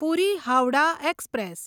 પૂરી Howrah express